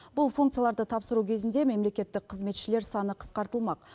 бұл функцияларды тапсыру кезінде мемлекеттік қызметшілер саны қысқартылмақ